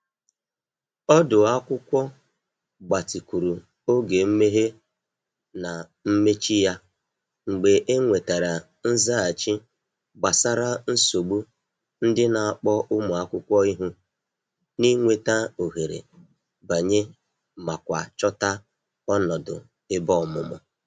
Ọdu akwụkwọ gbatịkwuru oge mmehe na mmechi ya mgbe e nwetara nzaghachi gbasara nsogbu ndị n'akpọ ụmụ akwụkwọ ihu n’ịnweta ohere banye ma kwa chota ọnọdụ ebe ọmụmụ.